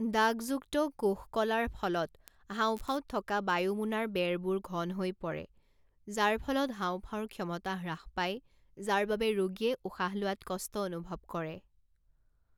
দাগযুক্ত কোষকলাৰ ফলত হাঁওফাঁওত থকা বায়ুমোনাৰ বেৰবোৰ ঘন হৈ পৰে, যাৰ ফলত হাওঁফাওঁৰ ক্ষমতা হ্ৰাস পায় যাৰ বাবে ৰোগীয়ে উশাহ লোৱাত কষ্ট অনুভৱ কৰে।